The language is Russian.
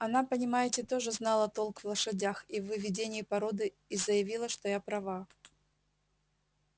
она понимаете тоже знала толк в лошадях и в выведении породы и заявила что я права